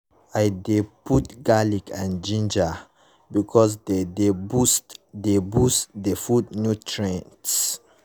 i dey put garlic and ginger because dey dey boost the boost the food nutrients.